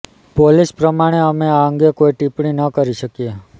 police પ્રમાણે અમે આ અંગે કોઈ ટિપ્પણી ન કરી શકીએ